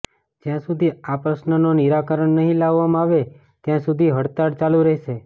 જ્યા સુધી આ પ્રશ્ન નો નિરાકરણ નહિ લાવવામાં આવે ત્યાં સુધી હડતાળ ચાલુ રહેશે